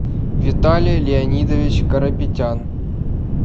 виталий леонидович карапетян